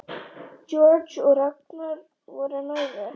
Georg og Ragnar voru nærri.